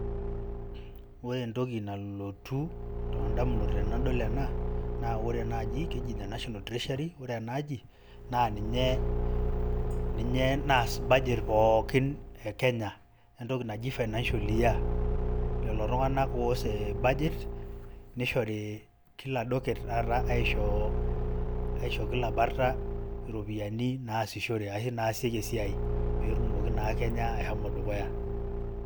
Ore entoki nalotu tondamunot tenadol ena, ore enaji keji ene National Treasury, ore enaaji, na ninye naas budget pookin e Kenya, entoki naji financial year. Lelo tung'anak oas e budget, nishori kila docket taata aisho kila bata ropiyaiani naasishore. Ashu naasieki esiai, petumoki naa Kenya ashomo dukuya.